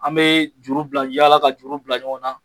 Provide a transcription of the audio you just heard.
An bɛ juru bila ,yaala ka juru bila ɲɔgɔn na.